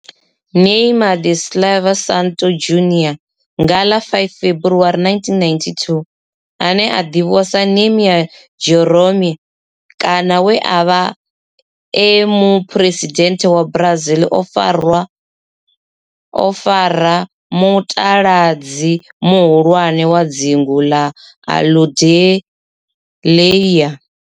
Neymar da Silva Santos Junior, nga ḽa 5 February 1992, ane a ḓivhiwa sa Ne'ymar' Jeromme kana we a vha e muphuresidennde wa Brazil o fara mutaladzi muhulwane wa dzingu la Aludalelia.